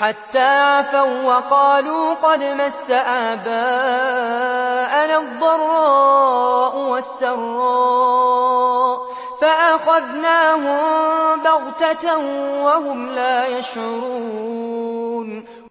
عَفَوا وَّقَالُوا قَدْ مَسَّ آبَاءَنَا الضَّرَّاءُ وَالسَّرَّاءُ فَأَخَذْنَاهُم بَغْتَةً وَهُمْ لَا يَشْعُرُونَ